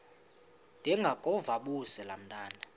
ndengakuvaubuse laa ntwana